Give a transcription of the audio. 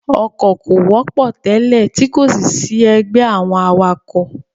Ọkọ̀ kò wọ́pọ̀ tẹ́lẹ̀ tí kòsì sí ẹgbẹ́ àwọn awakọ̀.